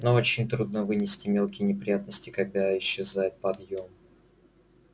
но очень трудно вынести мелкие неприятности когда исчезает подъем